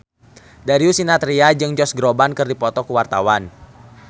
Darius Sinathrya jeung Josh Groban keur dipoto ku wartawan